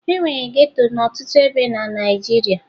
E nwere geto n'ọtụtụ ebe na Naịjirịa